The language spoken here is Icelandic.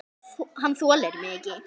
Hann þolir mig ekki.